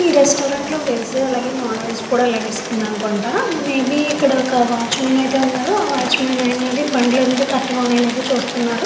ఈ రెస్టారెంట్ లో వెజ్ అలాగే నాన్ వెజ్ కూడా లభిస్తుందనుకుంటా. మే బి ఇక్కడ ఒక వాచ్మెన్ అయితే ఉన్నారో ఆ వాచ్మెన్ అయినది బండ్లు అనేది కరెక్ట్ గా ఉన్నాయో లేదో చూస్తున్నారు.